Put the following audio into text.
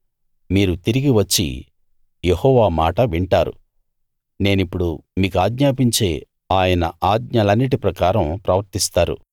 మీరు తిరిగి వచ్చి యెహోవా మాట వింటారు నేనిప్పుడు మీకాజ్ఞాపించే ఆయన ఆజ్ఞలన్నిటి ప్రకారం ప్రవర్తిస్తారు